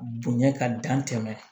Bonɲɛ ka dan tɛmɛ